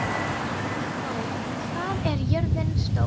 Hallþór, hvað er jörðin stór?